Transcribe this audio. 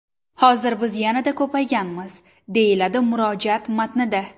Hozir biz yanada ko‘payganmiz”, deyiladi murojaat matnida.